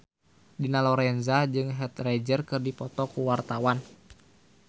Dina Lorenza jeung Heath Ledger keur dipoto ku wartawan